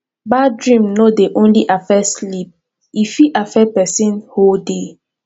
bad dream no dey only affect sleep e fit affect person whole day